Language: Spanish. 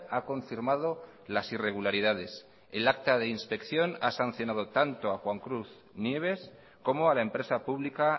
ha confirmado las irregularidades el acta de inspección ha sancionado tanto a juan cruz nieves como a la empresa pública